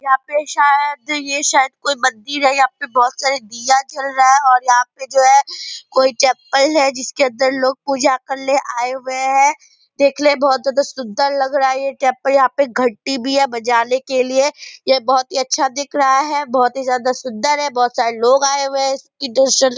यहाँ पे शायद यह शायद कोई बत्ती है यहाँ पे बहुत सारे दिया जल रहे है और यहाँ पे जो है कोई टेम्पल है जिसके अंदर लोग पूजा करने आए हुए है देखने मे बहुत ज्यादा सुंदर लग रहा है ये टेम्पल यहाँ पे घंटी भी है बजाने के लिए ये बहुत अच्छा ही दिख रहा है बहुत ही ज्यादा सुंदर है बहुत सारे लोग आए हुए है --